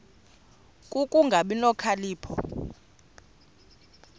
ku kungabi nokhalipho